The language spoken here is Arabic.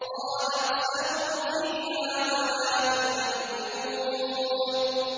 قَالَ اخْسَئُوا فِيهَا وَلَا تُكَلِّمُونِ